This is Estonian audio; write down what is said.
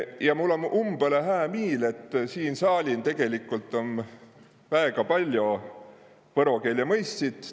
Ja mul om umbõlõ hää miil, et siin saalin om väega paljo võro keele mõistjit.